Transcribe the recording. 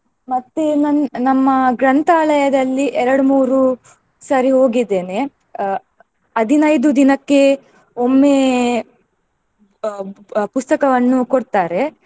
ಮತ್ತೆ ನನ್~ ನಮ್ಮ ಗ್ರಂಥಾಲಯದಲ್ಲಿ ಎರಡ್ಮೂರು ಸರಿ ಹೋಗಿದ್ದೇನೆ. ಅಹ್ ಹದಿನೈದು ದಿನಕ್ಕೆ ಒಮ್ಮೆ ಅಹ್ ಪ್~ ಪುಸ್ತಕವನ್ನು ಕೊಡ್ತಾರೆ.